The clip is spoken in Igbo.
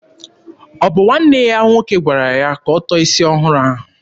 Ọ bụ nwanne ya nwoke gwara ya ka ọ tọọ isi ọhụrụ ahụ?